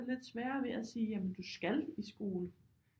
Lidt sværere ved at sige jamen du skal i skole